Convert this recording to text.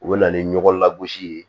U bɛ na ni ɲɔgɔ lagosi ye